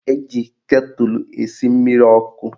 Eji ketụlụ esi mmiri ọkụ